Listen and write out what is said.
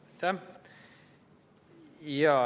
Aitäh!